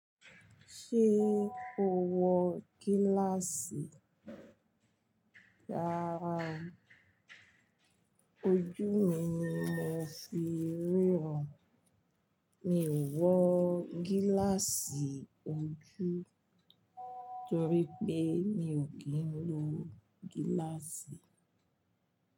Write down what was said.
Ṣé o wọ gíláàsì? Rárára o, ojú mi ni mo fi ríran. Mi ò wọ gíláàsì ojú torí pé mi o kí ń lo gíláàsì.